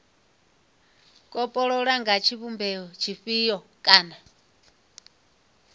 kopololwa nga tshivhumbeo tshifhio kana